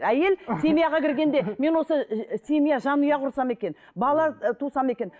әйел семьяға кіргенде мен осы ііі семья жанұя құрсам екен бала ы тусам екен